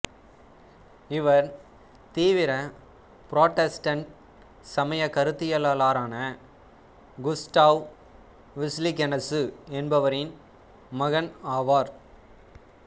இவர் தீவிர புராட்டஸ்டன்ட் சமய கருத்தியலாளரான குஸ்டாவ் விஸ்லிகெனசு என்பவரின் மகன் ஆவார்